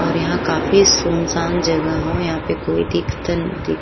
और यहाँ काफी सुनसान जगहन। यहाँ कोई दिखतन दी --